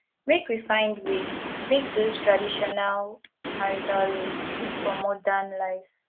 make we find way make dese traditional marital roles fit for modern life